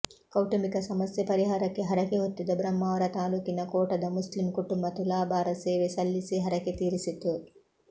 ಕೌಟುಂಬಿಕ ಸಮಸ್ಯೆ ಪರಿಹಾರಕ್ಕೆ ಹರಕೆ ಹೊತ್ತಿದ್ದ ಬ್ರಹ್ಮಾವರ ತಾಲೂಕಿನ ಕೋಟದ ಮುಸ್ಲಿಂ ಕುಟುಂಬ ತುಲಾಭಾರ ಸೇವೆ ಸಲ್ಲಿಸಿ ಹರಕೆ ತೀರಿಸಿತು